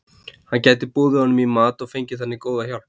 Hann gæti boðið honum í mat og fengið þannig góða hjálp.